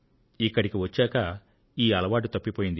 ఇక్కడికి వచ్చాక ఈ అలవాటు తప్పిపోయింది